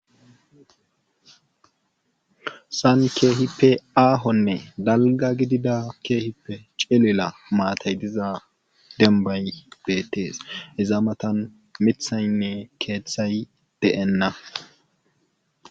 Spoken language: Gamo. Hessan keehippe aahonne dalgga gidida keehippe cilila maatay diza beettees iza matan mithaynne keethay de7enna.